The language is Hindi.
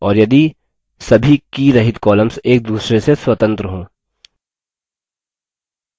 और यदि सभी कीरहित columns एक दूसरे से स्वतंत्र हों